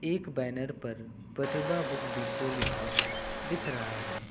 एक बैनर पर Pratibha book depot लिखा दिख रहा है।